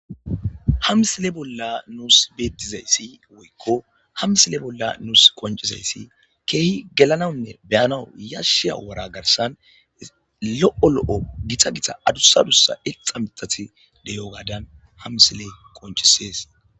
ha msile bolla nuus beettizayssi woykko hamsile bolla nuus qoncizayssi keehi gelanawnne beyanaw yashshiya wara garsan lo7o lo7o gita gita adussa adussa exa mitati deyo gaadan hamsile qoncisees